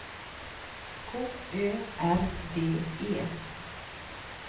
K Ö R D E